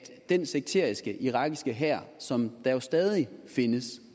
den sekteriske irakiske hær som jo stadig findes